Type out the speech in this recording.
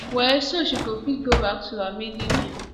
well so she go fit go back to her maiden name